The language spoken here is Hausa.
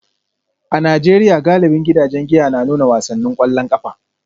A Najeriya, galibin gidajen giya na nuna wasannin kwallon kafa